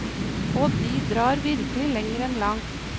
Og de drar virkelig lenger enn langt.